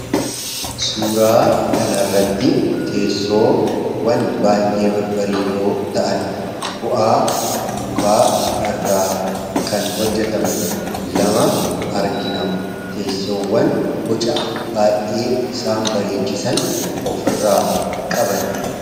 suuraa kana irratti teessoowwan baay'ee babbareedoo ta'an bu'aa mukaa irraa kan hojjetaman lama argina teessoowwan bocaa baay'ee isaan bareechisan of irraa qaban